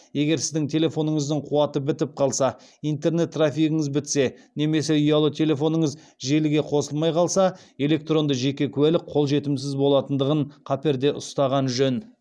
егер сіздің телефоныңыздың қуаты бітіп қалса интернет трафигіңіз бітсе немесе ұялы телефоныңыз желіге қосылмай қалса электронды жеке куәлік қолжетімсіз болатындығын қаперде ұстаған жөн